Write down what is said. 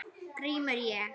GRÍMUR: Ég?